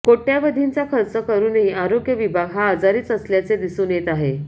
कोटयावधींचा खर्च करुनही आरोग्य विभाग हा आजारीच असल्याचे दिसून येत आहे